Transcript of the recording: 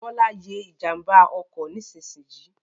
Bọ́lá ye ìjànbá ọkọ̀ nísinsìnyì